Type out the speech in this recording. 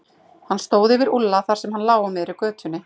Hann stóð yfir Úlla þar sem hann lá á miðri götunni.